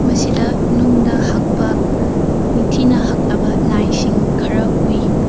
ꯑꯁꯤꯗ ꯅꯨꯡꯗ ꯍꯛꯄ ꯅꯤꯡꯊꯤꯅ ꯍꯛꯂꯕ ꯂꯥꯏꯁꯤꯡ ꯈꯔ ꯎꯏ꯫